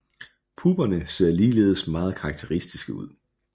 Pupperne ser ligeledes meget karakteristiske ud